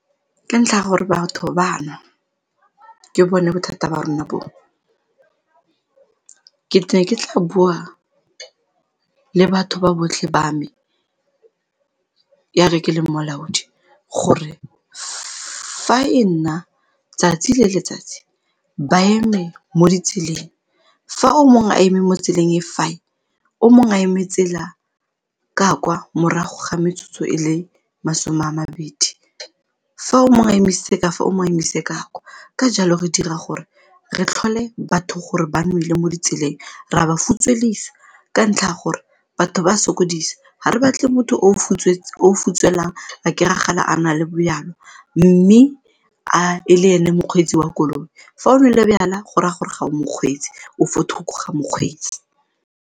Ka ntlha ya gore batho ba a nwa, ke bone bothata ba rona boo. Ke ne ke tla bua le batho ba botlhe ba me ya re ke leng molaodi gore fa e nna tsatsi le letsatsi ba eme mo ditseleng fa o mongwe a eme mo tseleng, fa o mongwe a eme tsela ka kwa morago ga metsotso e le masome a mabedi, fa o mongwe a emisetse ka fa o mong a emise ka kwa, ka jalo re dira gore re tlhole batho gore ba nwele mo ditseleng ra ba futswedisa ka ntlha ya gore batho ba sokodisa, ga re batle motho o futswelang a kry-agale a na le bojalwa mme a e le ene mokgweetsi wa koloi fa o nwele jwala go raya gore ga o mokgweetsi, o fo thoko ga mokgweetsi.